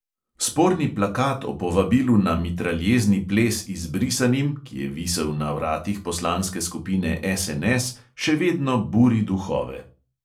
Sporni plakat o povabilu na mitraljezni ples izbrisanim, ki je visel na vratih poslanske skupine SNS, še vedno buri duhove.